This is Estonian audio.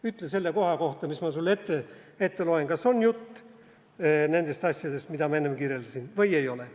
Ütle selle kohta, mis ma sulle ette loen, kas on jutt nendest asjadest, mida ma enne kirjeldasin, või ei ole.